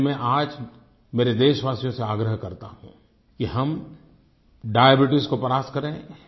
और इसलिए मैं आज मेरे देशवासियों से आग्रह करता हूँ कि हम डायबीट्स को परास्त करें